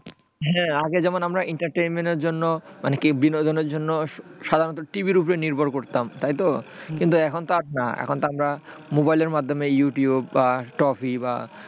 হ্যাঁ আগে যেমন আমরা entertainment এর জন্য মানে কি বিনোদনের জন্য সাধারণত TV ওপর নির্ভর করত তাইতো কিন্তু এখন আর তা না কিন্তু এখন তো আমরা মোবাইল এর মাধ্যমে youtube বা trophy,